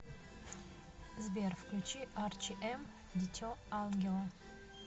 сбер включи арчи эм дите ангела